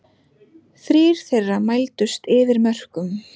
Þrír þeirra mældust yfir mörkum